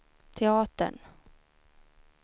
teatern